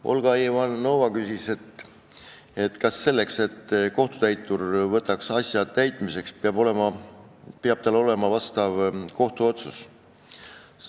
Olga Ivanova küsis, kas selleks, et kohtutäitur võtaks asja täitmiseks, peab tal olema vastav kohtuotsus.